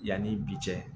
Yanni bi cɛ